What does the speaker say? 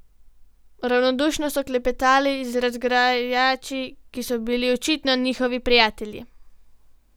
Ravnodušno so klepetali z razgrajači, ki so bili očitno njihovi prijatelji.